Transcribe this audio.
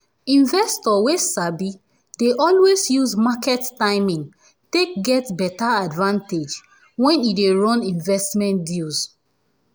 investor wey sabi dey always use market timing take get beta advantage when e dey run investmnt deals